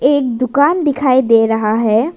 एक दुकान दिखाई दे रहा है।